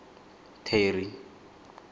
terry